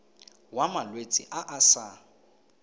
wa malwetse a a sa